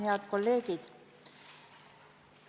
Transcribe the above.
Head kolleegid!